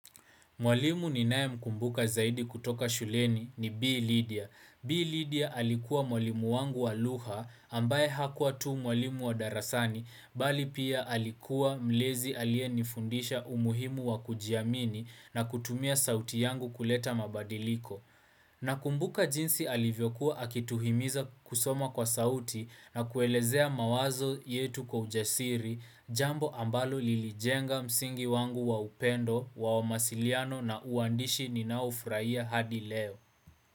Mwalimu ninae mkumbuka zaidi kutoka shuleni ni B. Lydia. B. Lydia alikuwa mwalimu wangu wa lugha ambaye hakuwa tu mwalimu wa darasani bali pia alikuwa mlezi aliyenifundisha umuhimu wa kujiamini na kutumia sauti yangu kuleta mabadiliko. Na kumbuka jinsi alivyokuwa akituhimiza kusoma kwa sauti na kuelezea mawazo yetu kwa ujasiri jambo ambalo lilijenga msingi wangu wa upendo, wa masiliano na uandishi ninaufraia hadi leo.